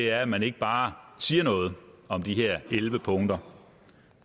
er at man ikke bare siger noget om de her elleve punkter